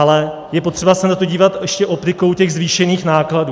Ale je potřeba se na to dívat ještě optikou těch zvýšených nákladů.